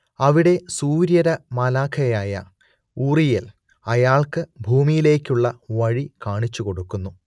അവിടെ സൂര്യരമാലാഖയായ ഊറിയേൽ അയാൾക്ക് ഭൂമിയിലേയ്ക്കുള്ള വഴി കാണിച്ചുകൊടുക്കുന്നു